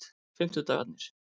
fimmtudagarnir